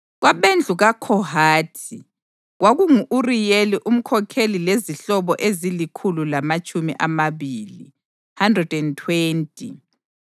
Kwabendlu kaKhohathi, kwakungu-Uriyeli umkhokheli lezihlobo ezilikhulu lamatshumi amabili (120);